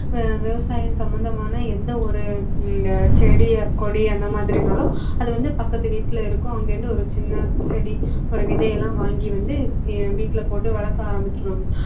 விவசாயம் சம்மந்தமான எந்த ஒரு உம் செடி கொடி அந்த மாதிரினாலும் அது வந்து பக்கத்து வீட்டுல இருக்கும் அங்க இருந்து ஒரு சின்ன செடி ஒரு விதையெல்லாம் வாங்கி வந்து வீட்டில போட்டு வளர்க்க ஆரம்பிச்சிடுவாங்க